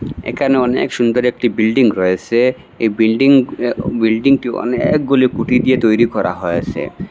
একানে অনেক সুন্দর একটি বিল্ডিং রয়েসে এই বিল্ডিং অ বিল্ডিংটি অনেকগুলি কুটি দিয়ে তৈরি করা হয়েসে।